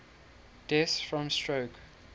deaths from stroke